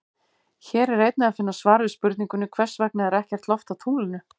Hér er einnig að finna svar við spurningunni Hvers vegna er ekkert loft á tunglinu?